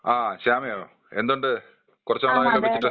ആ ശ്യാമേ ഏന്തുണ്ട് കുറച്ച് നാളായല്ലോ വിളിച്ചിട്ട്.